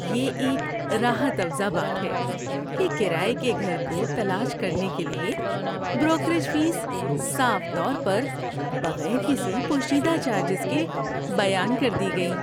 یہ ایک راحت افزا بات ہے کہ کرایے کے گھر کو تلاش کرنے کے لیے بروکریج فیس صاف طور پر، بغیر کسی پوشیدہ چارجز کے، بیان کر دی گئیں۔